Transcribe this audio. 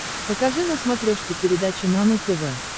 покажи на смотрешке передачу нано тв